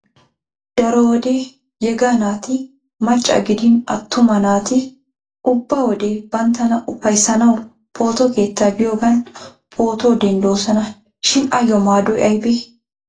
Daro wode yega naati macca gidin attuma naati ubba wode banttana uppayissanaw photo keettaa biyogan pootuwa denddoosona. Shin ayyo maadoy ayibe?